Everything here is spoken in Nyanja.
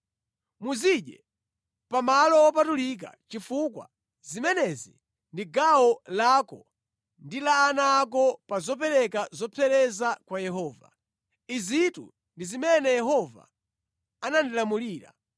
Muzidye pa malo wopatulika chifukwa zimenezi ndi gawo lako ndi la ana ako pa zopereka zopsereza kwa Yehova. Izitu ndi zimene Yehova anandilamulira.